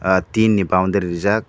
ahh tin ni boundary reejak.